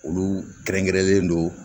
Olu kɛrɛnkɛrɛnlen don